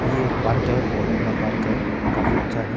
ये एक पार्क है बहोत बड़ा पार्क है काफी अच्छा है।